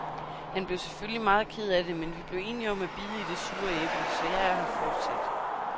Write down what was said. Han blev selvfølgelig meget ked af det, men vi blev enige om at bide i det sure æble, så jeg er her fortsat.